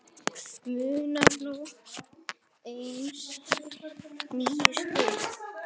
Munar nú aðeins níu stigum.